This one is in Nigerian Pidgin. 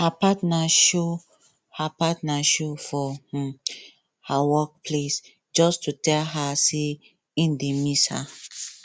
her partner show partner show for um her work place just to tell her say im dey miss her